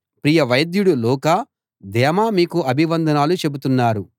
ప్రియ వైద్యుడు లూకా దేమా మీకు అభివందనాలు చెబుతున్నారు